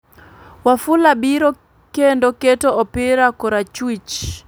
Wafula biro kendo keto opira korachwich,